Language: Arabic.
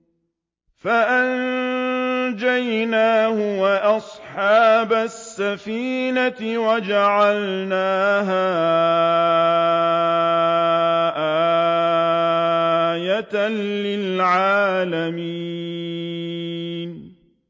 فَأَنجَيْنَاهُ وَأَصْحَابَ السَّفِينَةِ وَجَعَلْنَاهَا آيَةً لِّلْعَالَمِينَ